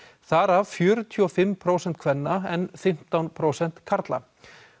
þar af fjörutíu og fimm prósent kvenna en fimmtán prósent karla